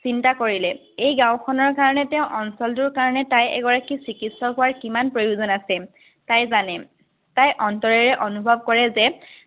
চিন্তা কৰিলে, এই গাঁওখনৰ কাৰণে তেওঁ, অঞ্চলটোৰ কাৰণে তাই চিকিত্চক হোৱাৰ কিমান প্ৰয়োজন আছে, তাই জানে। তাই অন্তৰেৰে অনুভৱ কৰে যে